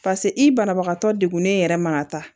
pase i banabagatɔ degunnen yɛrɛ ma ka taa